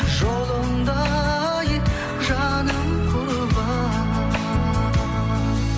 жолыңда ай жаным құрбан